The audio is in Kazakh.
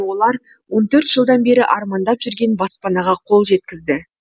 олар он төрт жылдан бері армандап жүрген баспанаға қол жеткізді